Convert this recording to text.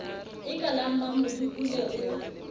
e ka la mmamodukule o